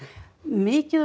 mikið af